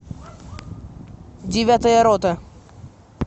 девятая рота